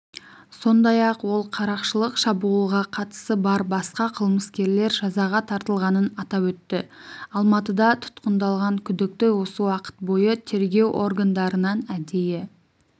сондай-ақ ол қарақшылық шабуылға қатысы бар басқа қылмыскерлер жазаға тартылғанын атап өтті алматыда тұтқындалған күдікті осы уақыт бойы тергеу органдарынан әдейі